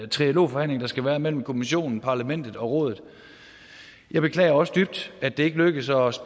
trialogforhandling der skal være mellem kommissionen parlamentet og rådet jeg beklager også dybt at det ikke lykkedes os